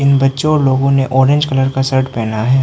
बच्चों लोगों ने ऑरेंज कलर का शर्ट पहना है।